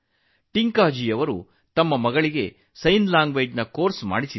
ಟಿಂಕಾಜಿ ತನ್ನ ಮಗಳನ್ನು ಸಂಜ್ಞೆ ಭಾಷೆಯ ಕೋರ್ಸ್ಗೆ ಸೇರಿಸಿದರು